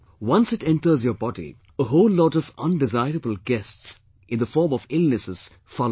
Once it enters yours body, a whole lot of undesirable guests in the form of illnesses follow it